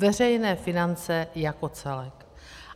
Veřejné finance jako celek.